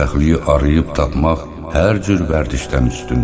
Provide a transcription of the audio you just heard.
Xoşbəxtliyi arayıb tapmaq hər cür vərdişdən üstündür.